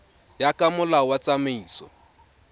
ya ka molao wa tsamaiso